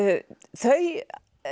þau